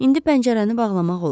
İndi pəncərəni bağlamaq olar.